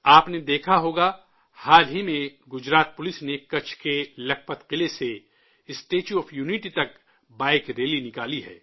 آپ نے دیکھا ہوگا، حال ہی میں گجرات پولیس نے کچھّ کے لکھپت قلعہ سے اسٹیچو آف یونٹی تک بائیک ریلی نکالی ہے